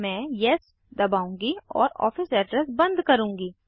मैं येस दबाऊँगी और ऑफिस एड्रेस बंद करुँगी